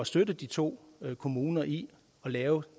støtte de to kommuner i at lave